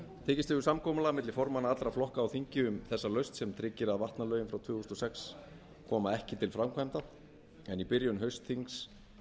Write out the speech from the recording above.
tekist hefur samkomulag milli formanna allra flokka á þingi þessa lausn sem tryggir að vatnalögin frá tvö þúsund og sex koma ekki til framkvæmda en í byrjun haustþings